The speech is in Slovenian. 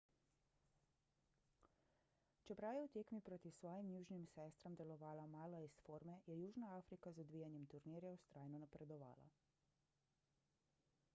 čeprav je v tekmi proti svojim južnim sestram delovala malo iz forme je južna afrika z odvijanjem turnirja vztrajno napredovala